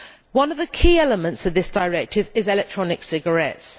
One of the key elements in this directive is electronic cigarettes.